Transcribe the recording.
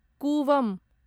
Cooum